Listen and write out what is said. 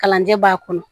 Kalanjɛ b'a kɔnɔ